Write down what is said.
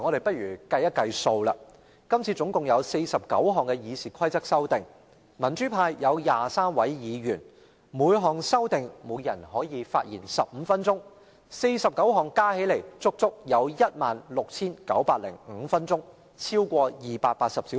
不妨計算一下，今次共有49項修改《議事規則》的建議，民主派有23位議員，若每人就每項修訂建議發言15分鐘 ，49 項加起來要花整整 16,905 分鐘，超過280小時。